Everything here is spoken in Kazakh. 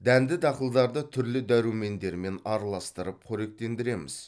дәнді дақылдарды түрлі дәрумендермен араластырып қоректендіреміз